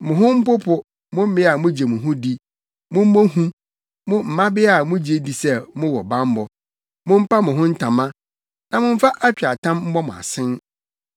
Mo ho mpopo, mo mmea a mugye mo ho di mommɔ hu, mo mmabea a mugye di sɛ mowɔ bammɔ! Mompa mo ho ntama na momfa atweaatam mmɔ mo asen.